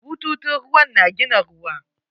Bututun ruwan na gina ruwa.